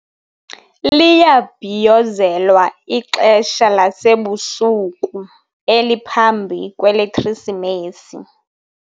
Liyabhiyozelwa ixesha lasebusuku eliphambi kweleKrisimesi.